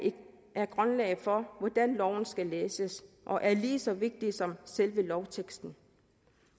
er grundlaget for hvordan loven skal læses og er lige så vigtige som selve lovteksten